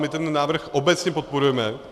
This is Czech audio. My ten návrh obecně podporujeme.